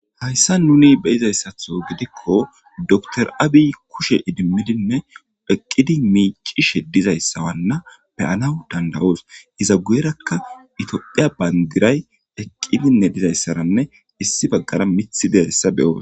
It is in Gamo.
Hayssa nuni beyizayssatho gidikko door aabi kushe idimmidinne eqqidi miicishe dizayssawanna beyanaw dandawoos iza guyerakka itophiya bayndiray eqqidinne dizayssaranne issi baggara mithi dezayssa beyoos.